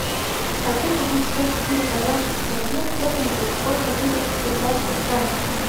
хочу купить сто четыре казахских тенге стерлингов сколько будет в швейцарских франках